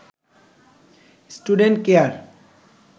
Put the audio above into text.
student care